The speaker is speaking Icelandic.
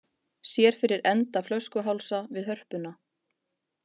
Sér fyrir enda flöskuhálsa við Hörpuna